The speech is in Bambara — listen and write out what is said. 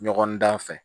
Ɲɔgɔn dan fɛ